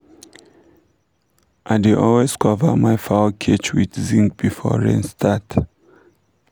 i dey always cover my fowl cage with zinc before rain start